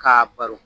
K'a baro